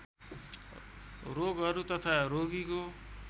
रोगहरू तथा रोगीको